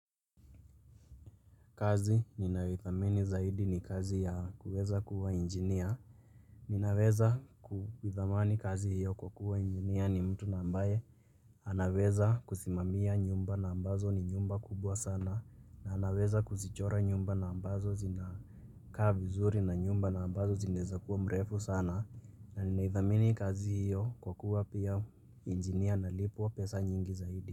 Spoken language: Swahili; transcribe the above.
Kazi ninayoithamini zaidi ni kazi ya kuweza kuwa injinia. Ninaweza kuithamani kazi hiyo kwa kuwa injinia ni mtu ambaye. Anaweza kusimamia nyumba na ambazo ni nyumba kubwa sana. Na anaweza kuzichora nyumba na ambazo zinakaa vizuri na nyumba na ambazo zinaeza kuwa mrefu sana. Na ninaithamini kazi hiyo kwa kuwa pia injinia analipwa pesa nyingi zaidi.